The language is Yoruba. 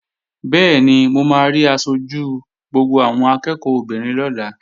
Bẹ́ẹ̀ni, mo máa rí aṣojú gbogbo àwọn akẹ́ẹ̀kọ́ obìnrin lọ́la